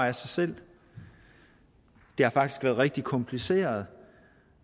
af sig selv det har faktisk været rigtig kompliceret